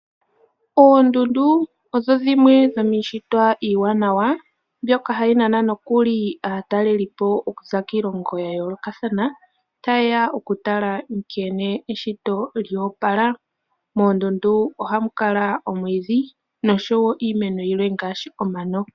Oondundu odho dhimwe dhomi shitwa iiwanawa mbyoka hayi nana nokuli aatalelipo okuza kiilongo ya yoolokathana tayeya okutala nkene eshito lyo opala. Moondundu ohamu kala omwiidhi niimeno yilwe ngaashi omano.